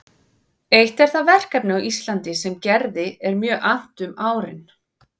Eitt er það verkefni á Íslandi sem Gerði er mjög annt um árin